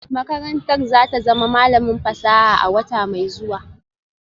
Makarantar za ta zama malamin fasaha a wata mai zuwa